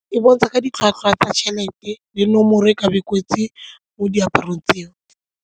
E bontsha ka ditlhwatlhwa tsa tšhelete le nomoro e ka be e kwetsi mo diaparong tseo.